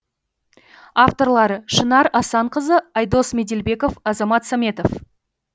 авторлары шынар асанқызы айдос меделбеков азамат саметов